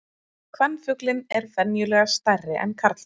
Kvenfuglinn er venjulega stærri en karlfuglinn.